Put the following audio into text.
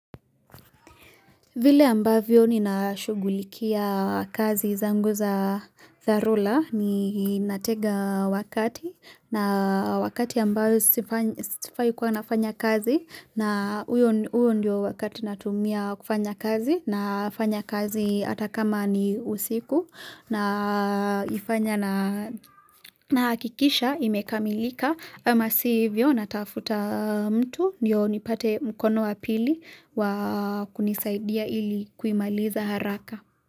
Vile ambavyo ni nashugulikia kazi zangu za zarula ni natega wakati na wakati ambayo sifai kwa nafanya kazi na. Uyo ndio wakati natumia kufanya kazi na fanya kazi atakama ni usiku. Na hakikisha imekamilika. Amasivyo natafuta mtu niyo nipate mkono wapili wa kunisaidia ilikuimaliza haraka.